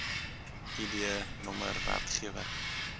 id nr werkgewer